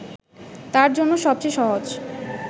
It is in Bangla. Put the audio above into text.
তার জন্য সবচেয়ে সহজ